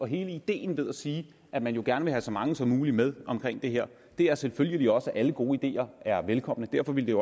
hele ideen med at sige at man gerne vil have så mange som muligt med i det her her selvfølgelig også at alle gode ideer er velkomne derfor ville